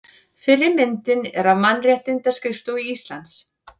Fyrri myndin er af Mannréttindaskrifstofu Íslands.